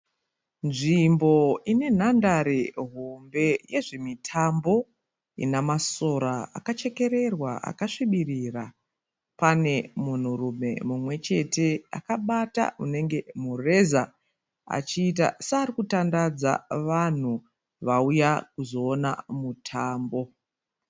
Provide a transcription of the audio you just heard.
Nzvimbo ine nhandare hombe yezvemitambo ina masora akachekererwa akasvibirira. Pane munhurume mumwe chete akabata unenge mureza achiita seari kutandadza vanhu vauya kuzoona mutambo.